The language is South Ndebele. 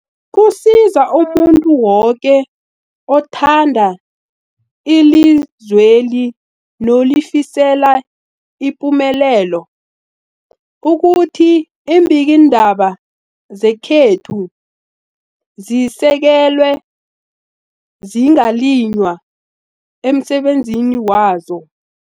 Kusiza umuntu woke othanda ilizweli nolifisela ipumelelo ukuthi iimbikiindaba zekhethu zisekelwe, zingaliywa emsebenzini wazo.